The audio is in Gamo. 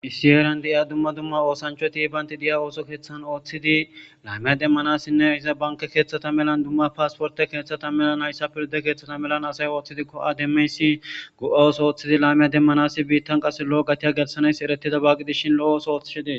issi heeran de7iya dumma duma oosancho tibanti diya ooso keeththan ooththidi laamiya demmanasinne iza banke keeththata melan dumma paasporte keeththata melan hayssa pirde keeththata melan asay ooththidikko7a demeysi go7awos ooththidi laamiya demmanasi biittan qase lo7o gatiya gelsanays eretida bagqidishin lo7oos oothishedee